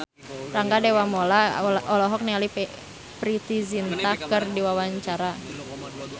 Rangga Dewamoela olohok ningali Preity Zinta keur diwawancara